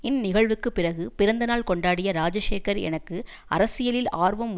இந்நிகழ்வுக்குப் பிறகு பிறந்தநாள் கொண்டாடிய ராஜசேகர் எனக்கு அரசியலில் ஆர்வம்